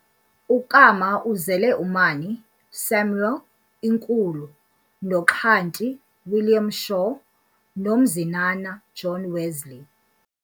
UKama uzele uMani Samuel inkulu, noXhanti William Shaw, noMzinana John Wesley.